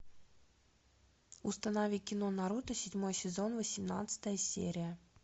установи кино наруто седьмой сезон восемнадцатая серия